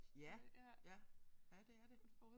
Ja ja. Ja det er det